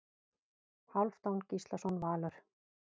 Hálfdán Gíslason Valur